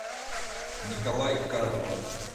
николай карпов